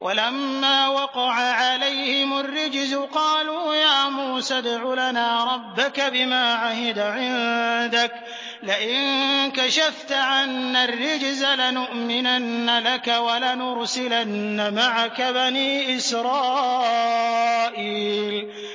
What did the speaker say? وَلَمَّا وَقَعَ عَلَيْهِمُ الرِّجْزُ قَالُوا يَا مُوسَى ادْعُ لَنَا رَبَّكَ بِمَا عَهِدَ عِندَكَ ۖ لَئِن كَشَفْتَ عَنَّا الرِّجْزَ لَنُؤْمِنَنَّ لَكَ وَلَنُرْسِلَنَّ مَعَكَ بَنِي إِسْرَائِيلَ